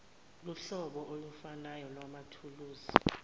lohlobo olufanayo lwamathuluzi